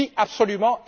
Oui, absolument!